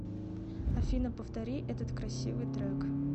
афина повтори этот красивый трек